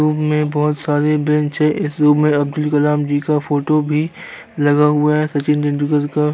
room में बहुत सारी बेंच है इस रूम में अब्दुल कलाम जी का फोटो भी लगा हुआ है सचिन तेंदुलकर का --